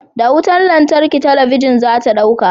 Da wutar lantarki talabijin za ta dauka.